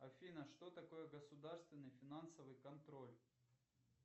афина что такое государственный финансовый контроль